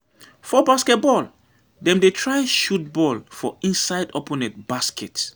For basket ball, dem dey try shoot ball for inside opponent basket.